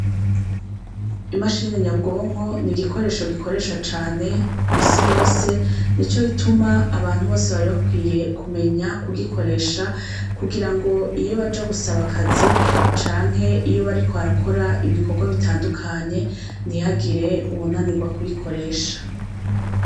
Imashini nyabwonko nigikoresho gikoreshwa cane kwisi yose nico gituma abantu bose bari bakwiye kumenya kugikoresha kugirango iyo baja gusaba akazi canke iyo bariko barakora ibikorwa bitandukanye nihagira uwunanigwa kuyikoresha.